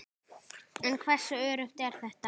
En hversu öruggt er þetta?